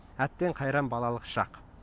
әттең қайран балалық шақ